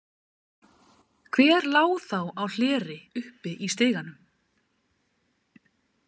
Hver lá þá á hleri uppi í stiganum?